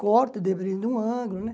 Corto, dependendo de um ângulo, né?